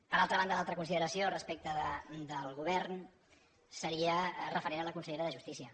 per altra banda l’altra consideració respecte del govern seria referent a la consellera de justícia